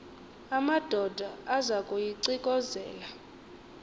amadoda aza kuyiclkozela